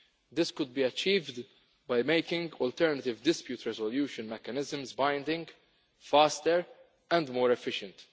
This could be achieved by making alternative dispute resolution mechanisms binding, faster and more efficient.